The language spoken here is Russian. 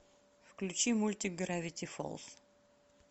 включи мультик гравити фолз